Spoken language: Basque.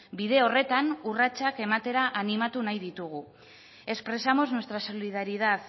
bide horretan urratsak ematera animatu nahi ditugu expresamos nuestra solidaridad